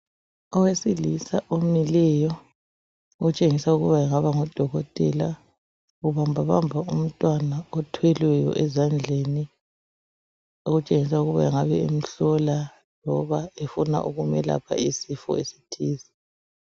Owesilisa omileyo otshengisa ukuba engaba ngudokotela, ubambabamba umntwana othwelweyo ezandleni okutshengisa ukuba engabe emhlola loba efuna ukumelapha isifo esithize.